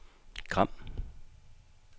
Gram